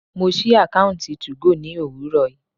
Mo sí àkọ́ùntì 2go ní òwúrọ̀ yìí.